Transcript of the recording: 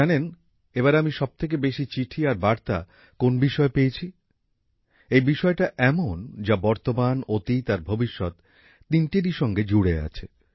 জানেন এবার আমি সবথেকে বেশি চিঠি আর বার্তা কোন বিষয়ে পেয়েছি এই বিষয়টা এমন যা বর্তমান অতীত আর ভবিষ্যৎ তিনটেরই সঙ্গে জুড়ে আছে